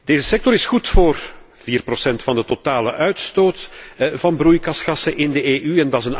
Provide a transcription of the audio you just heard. Deze sector is goed voor vier procent van de totale uitstoot van broeikasgassen in de EU.